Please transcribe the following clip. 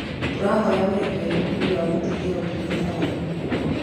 Tũrahoya ũrekeri nĩ ũndũ wa gũtithia ũtungata waku.